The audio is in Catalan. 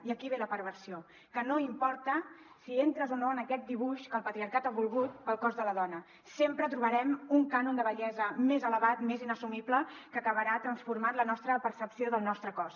i aquí ve la perversió que no importa si entres o no en aquest dibuix que el patriarcat ha volgut per al cos de la dona sempre trobarem un cànon de bellesa més elevat més inassumible que acabarà transformant la nostra percepció del nostre cos